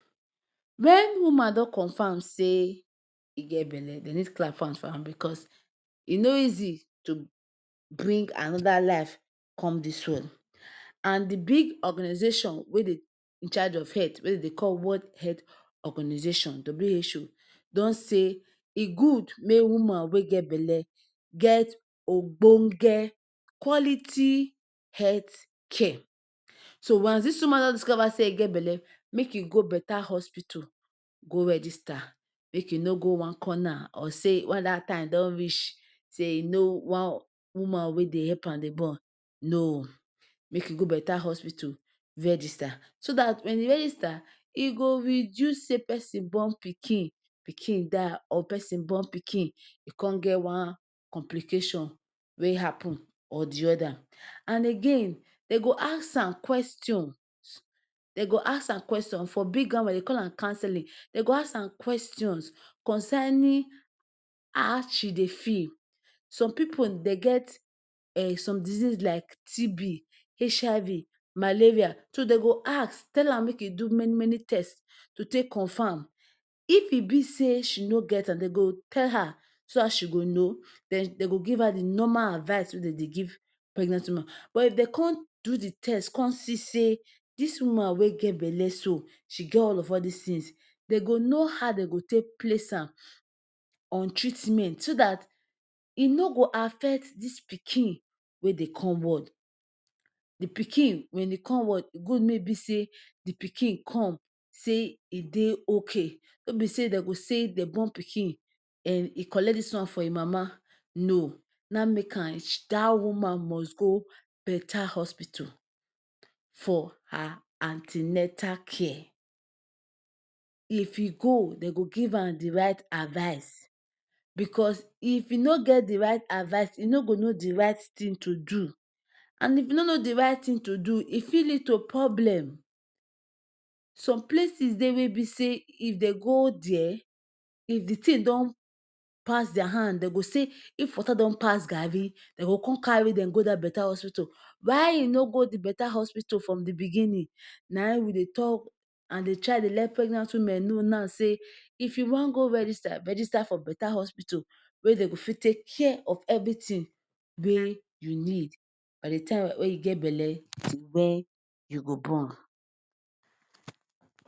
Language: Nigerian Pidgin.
When woman don confirm say e get belly dey need clap hand for am because e nor easy to bring another life come dis world. And de big organization wey dey in charge of health wey dem dey call world health organization WHO don say e good make woman wey get belly get ogbong? quality health care so once dis woman just discover say e get belly make you go better hospital go register make you nor go one corner say when dat time don reach say e know one woman wey dey help am dey born no! make e go better hospital register so dat when e register e go reduce say person born pikin, pikin die or person born pikin e come get one complication happen or other. And again dem go ask am questions, dem go ask am question big grammar dem dey call am counselling dem go ask am question concerning how she dey feel some pipu dem get um some disease like TB,HIV, Malaria dem go ask tell am make e do many many test to take confirm if e be say she nor get am dem go tell her so that she go know den dem go give am de normal advice wey dem dey give pregnant woman but if dem come, come do de test come see say dis woman wey get belly so, she get all of all these things dem go know how dey go take place am on treatment so dat e nor go affect dis pikin wey dey come world de pikin when e come world good make e be say de pikin come say e dey okay nor be say dem go say dem born pikin and e collect dis one from e mama no! na make am that woman must go better hospital for her an ten atal care if e go dem go give am the right advise because if e nor get de right advise e nor go know de right thing to do and if e nor know de right thing to do e fit lead to problem some places dey wey be say if dey go there if de thing don pass their hand dem go say if water don pass garri dem go come carry dem go dat hospital why e nor go de better hospital from de beginning na we dey talk and dey try dey let pregnant women know now say if you wan go register, register for better hospital wey dem go fit take care of everything wey you need by de time wey get belly until you born you go.